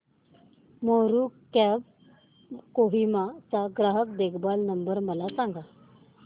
Meru cabs कोहिमा चा ग्राहक देखभाल नंबर मला सांगा